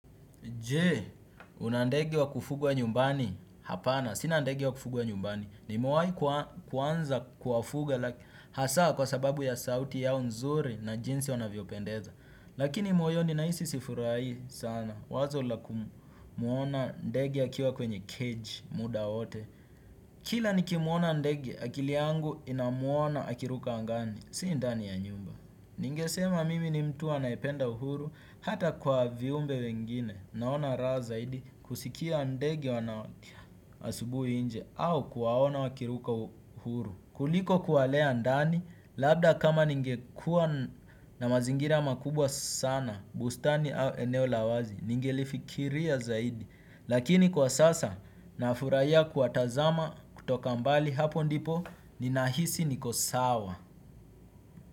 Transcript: Je, una ndege wa kufugwa nyumbani hapana. Sina ndege wa kufugwa nyumbani. Nimewahi kuanza kuwafuga hasa kwa sababu ya sauti yao nzuri na jinsi wanavyo pendeza. Lakini moyoni nahisi sifurahii sana. Wazo la kumuona ndege akiwa kwenye cage muda wote. Kila nikimuona ndege akili yangu inamuona akiruka angani. Si ndani ya nyumba. Ningesema mimi ni mtu anayependa uhuru hata kwa viumbe wengine naona raha zaidi kusikia ndegi wanawakia asubu inje au kuwaona wakiruka huru. Kuliko kuwalea ndani labda kama ningekuwa na mazingira makubwa sana bustani au eneo la wazi ningelifikiria zaidi. Lakini kwa sasa nafurahiya kuwatazama kutoka mbali hapo ndipo ninahisi niko sawa.